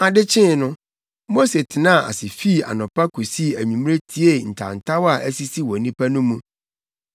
Ade kyee no, Mose tenaa ase fii anɔpa kosii anwummere tiee ntawntaw a asisi wɔ nnipa no mu.